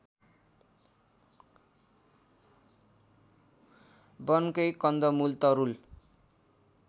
वनकै कन्दमुल तरूल